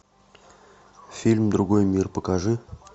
фильм другой мир покажи